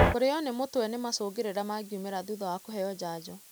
Kũrĩo nĩ mũtwe nĩ macungĩrĩra mangiũmĩra thutha wa kũheo janjo.